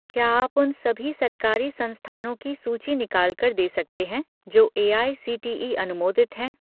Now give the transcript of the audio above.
क्या आप उन सभी सरकारी संस्थानों की सूची निकाल कर दे सकते हैं जो एआईसीटीई अनुमोदित हैं?